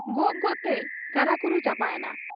ᱜᱚᱜ ᱜᱚᱜ ᱛᱮᱭ ᱠᱟᱨᱟ ᱠᱩᱨᱩ ᱪᱟᱵᱟ ᱮᱱᱟ ᱾